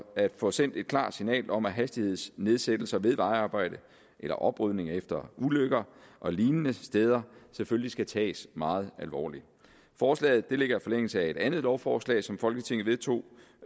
at få sendt et klart signal om at hastighedsnedsættelser ved vejarbejde eller oprydning efter ulykker og lignende steder selvfølgelig skal tages meget alvorligt forslaget ligger i forlængelse af et andet lovforslag som folketinget vedtog